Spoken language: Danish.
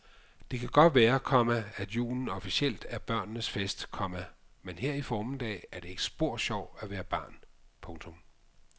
Det kan godt være, komma at julen officielt er børnenes fest, komma men her i formiddag er det ikke spor sjovt at være barn. punktum